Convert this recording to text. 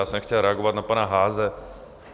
Já jsem chtěl reagovat na pana Haase.